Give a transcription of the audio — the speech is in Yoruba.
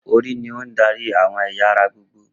Orí ní on darí àwọn ẹ̀yà ara gbogbo